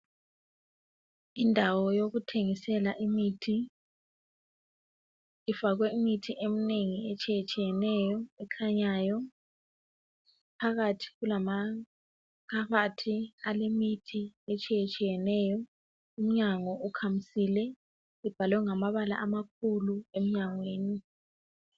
Indawo yokuthengisela imithi ifakwe imithi emnengi etshiyatshiyeneyo ekhanyayo phakathi kulama phakhethi alemithi etshiyeneyo umyango ukhamisile kubhalwe ngamabala amakhulu emnyangweni.